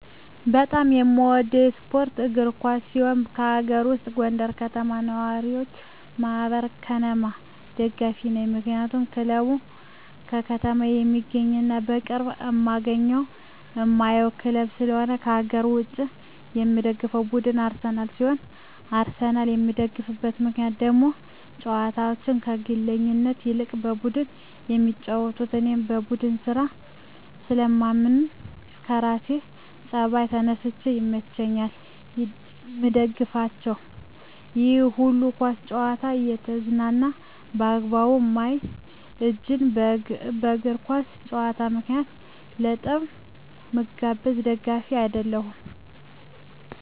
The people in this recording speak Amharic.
በጣም የምወደው ስፓርት እግር ኳስ ሲሆን ከአገር ውስጥ የጎንደር ከተማ ነዋሪወች ማህበር(ከነማ) ደጋፊ ነኝ ምክንያቱም ክለቡ በከተማየ የሚገኝና በቅርብ እማገኘውና እማየው ክለብ ስለሆነ። ከአገር ውጭ የምደግፈው ቡድን አርሰናል ሲሆን አርሰናልን የምደግፍበት ምክንያት ደግሞ ጨዋታቸው ከግለኝነት ይልቅ በቡድን ስለሚጫወቱ እኔም በቡድን ስራ ስለማምን ከራሴ ጸባይ ተነስቸ ይመስለኛል ምደግፋቸው። ይህም ሁኖ ኳስ ጨዋታን እየተዝናናው በአግባቡ ማይ እንጅ በእግር ኳስ ጨዋታ ምክንያት ለጠብ ምጋበዝ ደጋፊ አደለሁም።